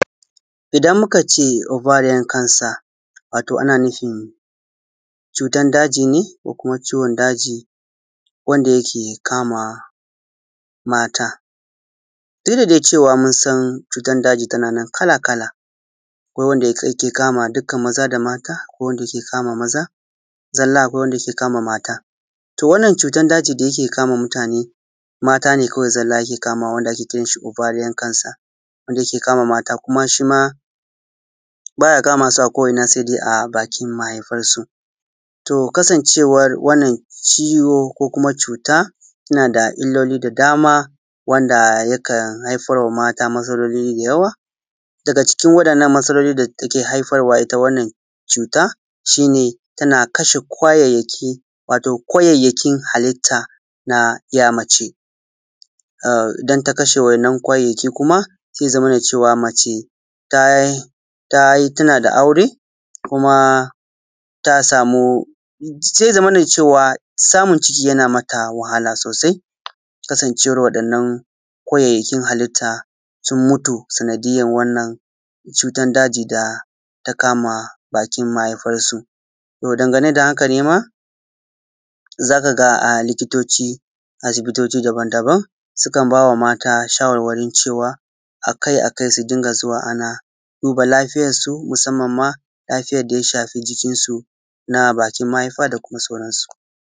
Idan muka ce Ovarian Cancer, wato ana nufin, cutan daji ne ko kuma ciwon daji wanda ya ke kama mata. Duk dai da cewa musan cutan daji tana nan kala kala, akwai wanda yake duka maza da mata akwai wanda yake kama maza zalla, akwai wanda ya ke kama mata. To wannan cutan dajin da yi ke kama mutane mata ne kawai zalla yake kamawa ake kiran shi ovarian cancer wanda ya ke kama mata kuma shima baya kama su a ko’ina sai da bakin mahaifarsu. To kasancewan wannan ciwo ko kuma cuta nada illoli da dama wanda ya kan haifarwa mata matsaloli da yawa, daga cikin wadannan matsalolin da take haifarwa ita wannan cuta, shi ne tana kashe kwayayyaki, wato kwayayyakin halitta na ‘ya mace, idan ta kashe wa’innan kwayayyakin kuma sai ya zamana cewa mace ta yi tuna da aure, kuma ta samu, sai ya zamana cewa samun ciki yana mata wahala sosai kasance war wannan kwayayyakin halitta sun mutu sanadiyar wannan cutan daji da ta kama bakin mahaifar su. To dangane da haka ne ma zaka ga a likotoci, asibotoci dabam dabam sukan bawa mata sharwarwarin cewa akai akai su dunga zuwa ana duba lafiyansu, musammanma lafiyar daya shafi jikinsu na bakin mahaifa da kuma sauransu.